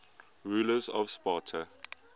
rulers of sparta